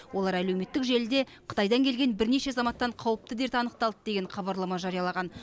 олар әлеуметтік желіде қытайдан келген бірнеше азаматтан қауіпті дерт анықталды деген хабарлама жариялаған